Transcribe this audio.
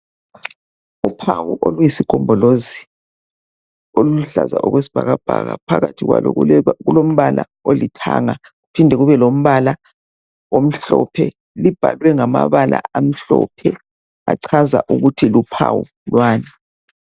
Uphawu oluyisigombolozi, oluluhlaza okwesibhakabhaka. Phakathi kwalo kulombala olithanga, kuphinde kube lombala omhlophe. Lubhalwe ngamabala amhlophe achaza ukuthi luphawu lwani.